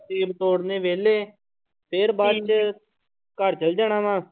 ਸੇਬ ਤੋੜਨੇ ਵਿਹਲੇ, ਫਿਰ ਬਾਅਦ ਚ ਘਰ ਚਲੇ ਜਾਣਾ ਵਾਂ।